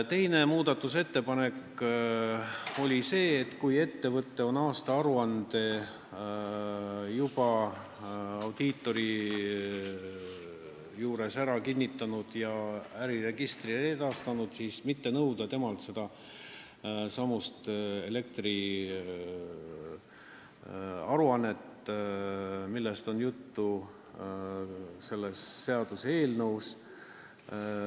Teine muudatusettepanek oli see, et kui ettevõte on aastaaruande juba audiitori juures ära kinnitanud ja äriregistrile edastanud, siis ei maksaks temalt nõuda seda elektriaruannet, millest on juttu selles seaduseelnõus.